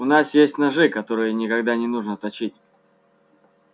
у нас есть ножи которые никогда не нужно точить